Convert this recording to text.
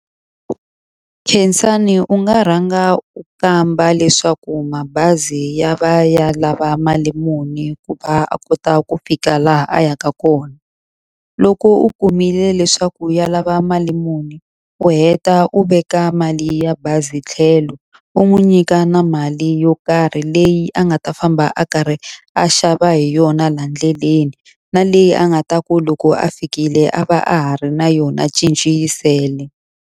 Khensani u nga rhanga u kamba leswaku mabazi ya va ya lava mali muni ku va a kota ku fika laha a yaka kona. Loko u kumile leswaku ya lava mali muni, u heta u veka mali ya bazi tlhelo. U n'wi nyika na mali yo karhi leyi a nga ta famba a karhi a xava hi yona laha ndleleni, na leyi a nga ta ku loko a fikile a va a ha ri na yona cinci yi sele.